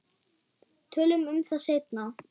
Tölum um það seinna.